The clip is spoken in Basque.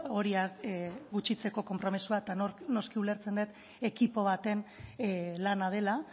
hori gutxitzeko konpromezua eta noski ulertzen dut ekipo baten lana dela